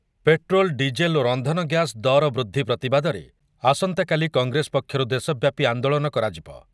Petrol, diesel ଓ ରନ୍ଧନଗ୍ୟାସ୍ ଦର ବୃଦ୍ଧି ପ୍ରତିବାଦରେ ଆସନ୍ତାକାଲି କଂଗ୍ରେସ ପକ୍ଷରୁ ଦେଶବ୍ୟାପୀ ଆନ୍ଦୋଳନ କରାଯିବ ।